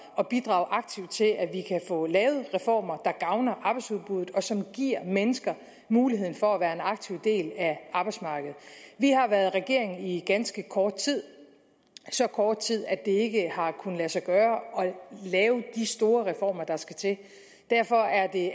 at bidrage aktivt til at vi kan få lavet reformer der gavner arbejdsudbuddet og som giver mennesker mulighed for at være en aktiv del af arbejdsmarkedet vi har været regering i ganske kort tid så kort tid at det ikke har kunnet lade sig gøre at lave de store reformer der skal til derfor er det